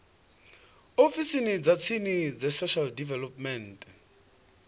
ofisini dza tsini dza social development